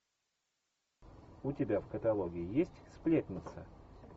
у тебя в каталоге есть сплетница